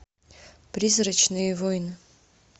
призрачные войны